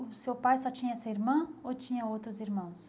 O seu pai só tinha essa irmã ou tinha outros irmãos?